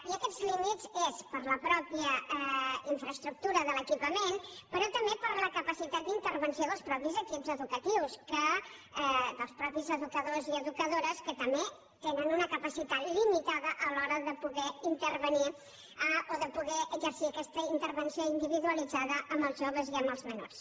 i aquests límits és per la mateixa infraestructura de l’equipament però també per la capacitat d’intervenció dels mateixos equips educatius dels mateixos educadors i educadores que també tenen una capacitat limitada a l’hora de poder intervenir o de poder exercir aquesta intervenció individualitzada amb els joves i amb els menors